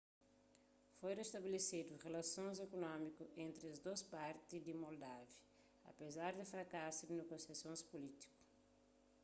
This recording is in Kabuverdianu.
foi restabelesedu rilasons ikunómiku entri es dôs parti di moldávia apezar di frakasu di negosiasons pulítiku